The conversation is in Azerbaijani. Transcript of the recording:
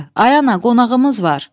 Ay ana, qonağımız var!